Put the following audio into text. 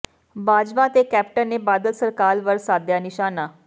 ਬਾਜਵਾ ਤੇ ਕੈਪਟਨ ਨੇ ਬਾਦਲ ਸਰਕਾਰ ਵੱਲ ਸਾਧਿਆ ਨਿਸ਼ਾਨਾ